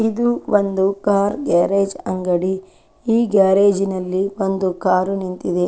ಇದು ಒಂದು car garage ಅಂಗಡಿ ಈ ಗ್ಯಾರೇಜಿನಲ್ಲಿ ಒಂದು ಕಾರು ನಿಂತಿದೆ.